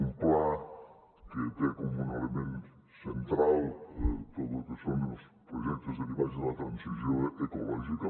un pla que té com un element central tot el que són els projectes derivats de la transició ecològica